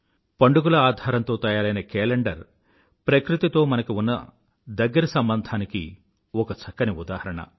పండుగల ఆధారంతో తయారైన కేలెండరు ప్రకృతితో మనకి ఉన్న దగ్గర సంబంధానికి ఒక చక్కని ఉదాహరణ